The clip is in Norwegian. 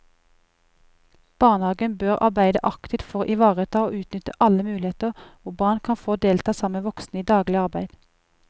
Barnehagen bør arbeide aktivt for å ivareta og utnytte alle muligheter hvor barn kan få delta sammen med voksne i daglig arbeid.